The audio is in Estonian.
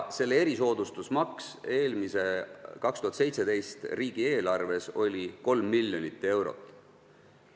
See erisoodustusmaks oli 2017. aasta riigieelarves 3 miljonit eurot.